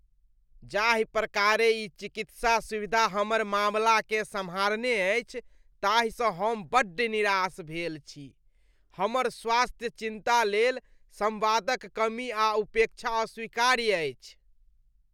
जाहि प्रकारेँ ई चिकित्सा सुविधा हमर मामलाकेँ सम्हारने अछि ताहिसँ हम बड्ड निराश भेल छी अछि। हमर स्वास्थ्यक चिन्ता लेल संवादक कमी आ उपेक्षा अस्वीकार्य अछि।